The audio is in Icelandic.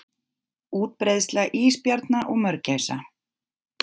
Útbreiðsla ísbjarna og mörgæsa.